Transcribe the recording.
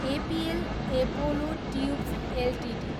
APL Apollo tubes Ltd